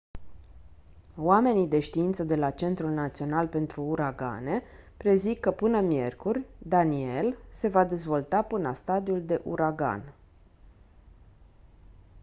oamenii de știință de la centrul național pentru uragane prezic că până miercuri danielle se va dezvolta până la stadiul de uragan